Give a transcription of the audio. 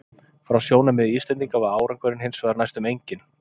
Frá sjónarmiði Íslendinga var árangurinn hins vegar næstum enginn.